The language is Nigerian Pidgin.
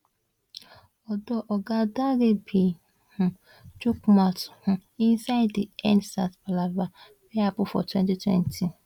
although oga Dare bin um chook mouth um inside di endsars palava wey happun for2020